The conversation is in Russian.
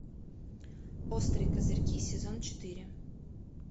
острые козырьки сезон четыре